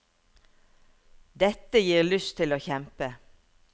Dette gir lyst til å kjempe.